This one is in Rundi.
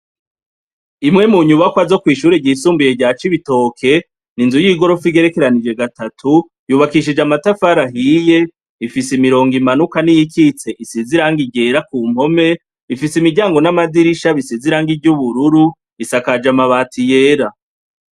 Imwe mu nyubakwa zo kw' ishure ryisumbuye rya cibitoke, n'Inzu y'igorofa igerekeranije gatatu ,yubakishije Amatafara ahiye, ifise imirongo imanuka n'iyikitse isiz' irangi ryera ku mpome, ifise Imiryango n'Amadirisha bisize irangi ry'ubururu, isakaje Amabati yera.